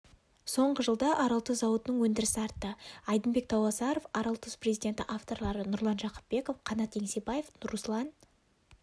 соңғы жылда аралтұз зауытының өндірісі артты айдынбек тауасаров аралтұз президенті авторлары нұрлан жақыпбеков қанат еңсебаев руслан